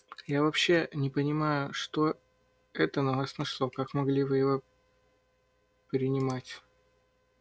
я вообще не понимаю что это на вас нашло как могли вы его принимать